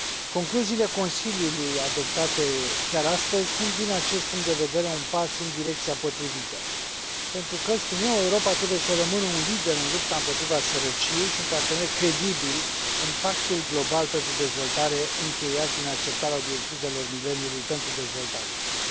Concluziile Consiliului, adoptate chiar astăzi, sunt, din acest punct de vedere, un pas în direcția potrivită, pentru că, spun eu, Europa trebuie să rămână un lider în lupta împotriva sărăciei și un partener credibil în pactul global pentru dezvoltare, încheiat prin acceptarea Obiectivelor de dezvoltare ale mileniului.